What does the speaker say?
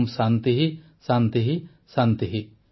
ଓଁ ଶାନ୍ତିଃ ଶାନ୍ତିଃ ଶାନ୍ତିଃ